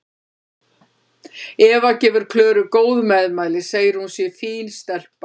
Eva gefur Klöru góð meðmæli, segir að hún sé fín stelpa.